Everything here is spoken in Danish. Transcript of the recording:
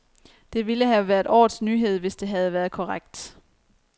Det ville have været årets nyhed, hvis det havde været korrekt.